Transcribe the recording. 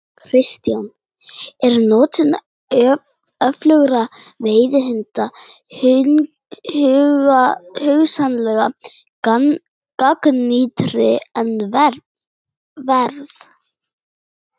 Kristján: Er notkun öflugra veiðihunda hugsanlega gagnrýni verð?